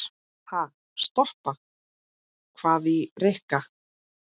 Ha, stoppa? hváði Rikka.